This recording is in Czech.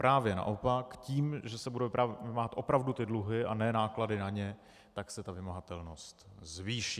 Právě naopak, tím, že se budou vymáhat opravdu ty dluhy, a ne náklady na ně, tak se ta vymahatelnost zvýší.